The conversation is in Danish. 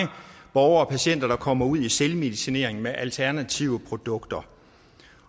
borgere og patienter kommer ud selvmedicinering med alternative produkter